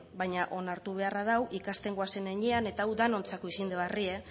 baina onartu beharra dago ikasten goazen heinean eta hau danontzako izen de barrie